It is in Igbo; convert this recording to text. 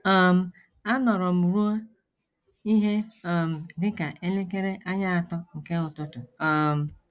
um Anọrọ m ruo ihe um dị ka elekere anya atọ nke ụtụtụ um.